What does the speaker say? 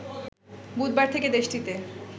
বুধবার থেকে দেশটিতে